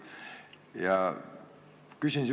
Küsin sihukese küsimuse.